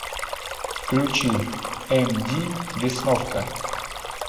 включи эмди весновка